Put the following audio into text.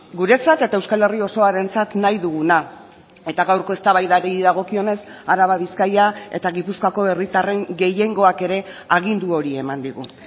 guretzat eta euskal herria osoarentzat nahi duguna eta gaurko eztabaidari dagokionez araba bizkaia eta gipuzkoako herritarren gehiengoak ere agindu hori eman digu